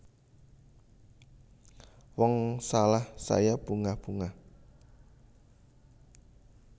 Wong salah saya bungah bungah